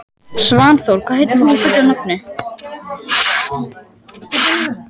Svanþór, hvað heitir þú fullu nafni?